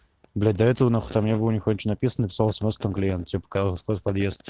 блять до этого нахуй там не было нихуя ничего написано написала смс там клиент тебе показалось просто подъезд